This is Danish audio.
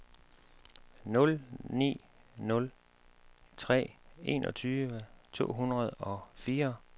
nul ni nul tre enogtyve to hundrede og fire